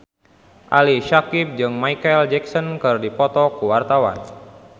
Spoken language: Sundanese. Ali Syakieb jeung Micheal Jackson keur dipoto ku wartawan